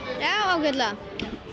ágætlega